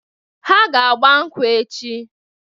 Ha ga-agba nkwụ echi.